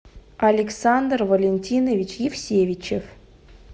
александр валентинович евсевичев